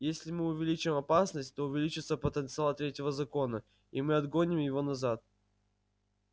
если мы увеличим опасность то увеличится потенциал третьего закона и мы отгоним его назад